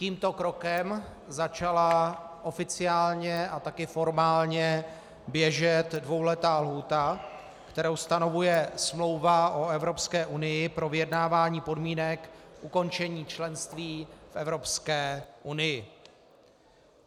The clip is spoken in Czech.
Tímto krokem začala oficiálně a taky formálně běžet dvouletá lhůta, kterou stanovuje Smlouva o Evropské unii pro vyjednávání podmínek ukončení členství v Evropské unii.